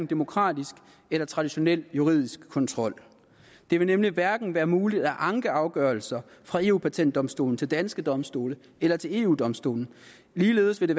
demokratisk eller traditionel juridisk kontrol det vil nemlig hverken være muligt at anke afgørelserne fra eu patentdomstolen til danske domstole eller til eu domstolen ligeledes vil